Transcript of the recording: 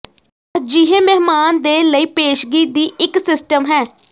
ਅਜਿਹੇ ਮਹਿਮਾਨ ਦੇ ਲਈ ਪੇਸ਼ਗੀ ਦੀ ਇੱਕ ਸਿਸਟਮ ਹੈ